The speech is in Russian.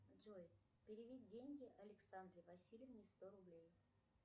джой переведи деньги александре васильевне сто рублей